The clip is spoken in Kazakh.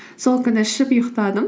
сол күні ішіп ұйықтадым